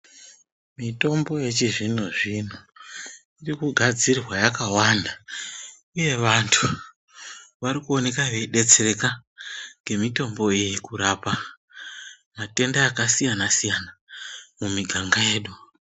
Mitombo yechizvino-zvino iri kugadzirwa yakawanda, uye vantu vari kuone veibetsereka ngemitombo iyi kurapa matenda akasiyana-siyana mumiganga yedu.